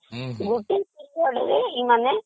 ଗୋଟେ ପିରିଅଡ ରେ ଏମାନେ